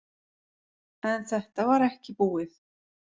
En þetta var ekki búið.